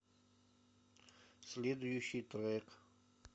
следующий трек